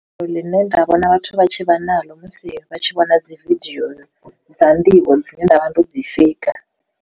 Fulo ḽine nda vhona vhathu vha tshi vha naḽo musi vha tshi vhona dzi vidio dza nḓivho dzine nda vha ndo dzi sika.